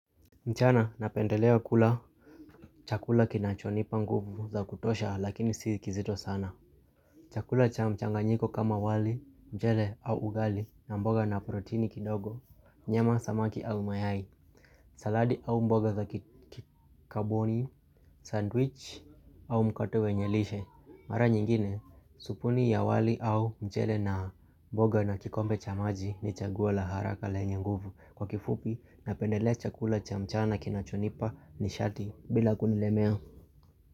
Mchana napendelea kula chakula kinachonipa nguvu za kutosha lakini si kizito sana. Chakula cha mchanganyiko kama wali, mchele au ugali na mboga na proteini kidogo, nyama samaki au mayai, saladi au mboga za kikaboni, sandwich au mkate wenye lishe. Mara nyingine, supuni ya wali au mchele na mboga na kikombe cha maji ni chaguo la haraka lenye nguvu kwa kifupi na pendelea chakula cha mchana kinachonipa nishati bila kunilemea.